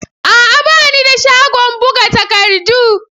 A'a! Ba ni da shagon buga takardu.